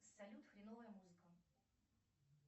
салют хреновая музыка